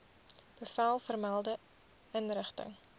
bevel vermelde inrigting